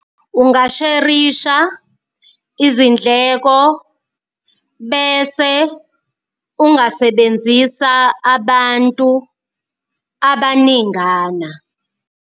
Ungasherisha izindleko bese ungasebenzisa abantu abaningana.